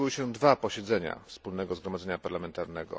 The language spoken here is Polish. odbyły się dwa posiedzenia Wspólnego Zgromadzenia Parlamentarnego